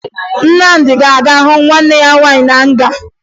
Nnamdị ga-aga hụ nwanne ya nwaanyị na nga